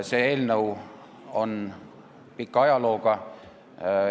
See eelnõu on pika ajalooga.